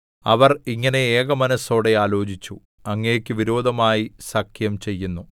അവർ ഇങ്ങനെ ഏകമനസ്സോടെ ആലോചിച്ചു അങ്ങേക്കു വിരോധമായി സഖ്യം ചെയ്യുന്നു